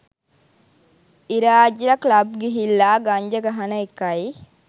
ඉරාජ්ල club ගිහිල්ලා ගංජා ගහන එකයි